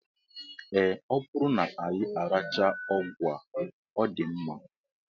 Ee, ọ bụrụ na anyị arachaa ọgwụ a, ọ dị mma